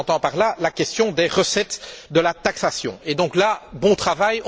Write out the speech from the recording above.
J'entends par là la question des recettes de la taxation. C'est du bon travail!